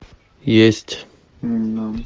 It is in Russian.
есть